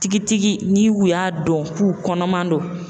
Tigitigi ni u y'a dɔn k'u kɔnɔman don